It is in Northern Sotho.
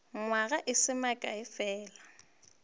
nywaga e se mekae fela